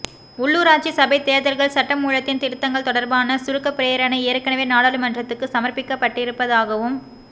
உள்ளூராட்சி சபைத் தேர்தல்கள் சட்டமூலத்தின் திருத்தங்கள் தொடர்பான சுருக்கப் பிரேரணை ஏற்கனவே நாடாளுமன்றத்துக்கு சமர்ப்பிக்கப்பட்டிருப்பதாகவும்